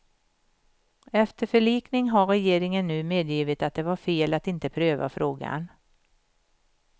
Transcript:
Efter förlikning har regeringen nu medgivit att det var fel att inte pröva frågan.